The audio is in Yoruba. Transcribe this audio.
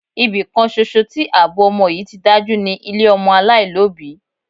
Ibi kan ṣoṣo tí àbọ̀ ọmọ yí ti dájú ni ilé ọmọ aláìlóbìí.